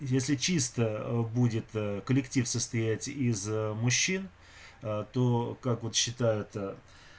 если чисто будет коллектив состоять из мужчин то как вот считают